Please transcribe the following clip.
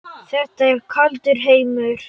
Þetta er kaldur heimur.